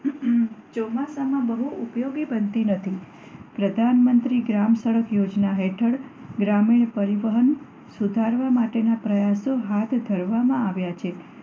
ચોમાસા માં આ સડકો ઉપયોગી બનતી નથી પ્રધાનમંત્રી ગ્રામ સડક યોજના હેઠળ ગ્રામીણ પરિવહન સુધારવાના પ્રયાસો હાથ હેઠળ કરવામાં આવ્યા છે